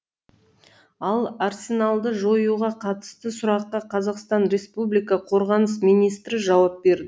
ал арсеналды жоюға қатысты сұраққа қр қорғаныс министрі жауап берді